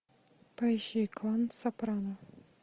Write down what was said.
поищи клан сопрано